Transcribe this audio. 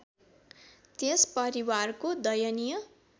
त्यस परिवारको दयनीय